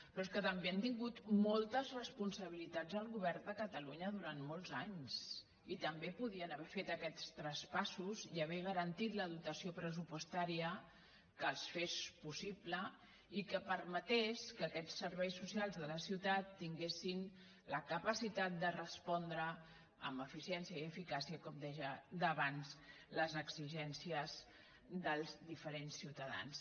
però és que també han tingut moltes responsabilitats al govern de catalunya durant molts anys i també podien haver fet aquests traspassos i haver garantit la dotació pressupostària que els fes possibles i que per·metés que aquests serveis socials de la ciutat tingues·sin la capacitat de respondre amb eficiència i eficàcia com deia davant les exigències dels diferents ciuta·dans